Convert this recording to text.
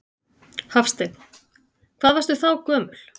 Hafsteinn: Hvað varstu þá gömul?